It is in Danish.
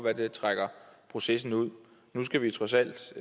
at det trækker processen ud nu skal vi trods alt hvis